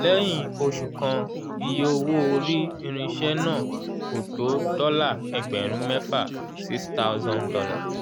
lẹ́yìn oṣù kan iye owó orí irinṣẹ́ náà kò tó dọ́là ẹgbẹ̀rún mẹ́fà six thousan dollar